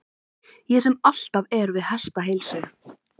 Ég sem alltaf er við hestaheilsu!